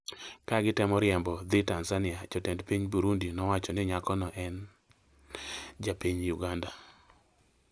ka gitemo riembo dhi Tanzania, jotend piny Burundi nowacho ni nyako no ne en ja piny Uganda